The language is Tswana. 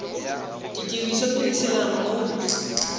didiriswa tse di tshelang mo